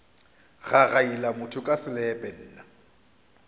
gagaila motho ka selepe nna